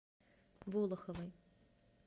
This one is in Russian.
волоховой